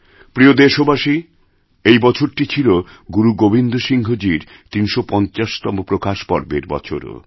প্রিয় দেশবাসী এই বছরটি ছিল গুরু গোবিন্দ সিংহজীর ৩৫০তমপ্রকাশ পর্বের বছরও